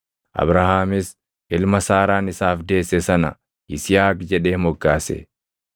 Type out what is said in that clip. Abrahaamis ilma Saaraan isaaf deesse sana Yisihaaq jedhee moggaase.